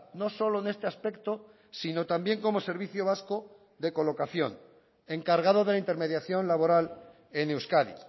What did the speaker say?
no solo en este aspecto sino también como servicio vasco de colocación encargado de la intermediación laboral en euskadi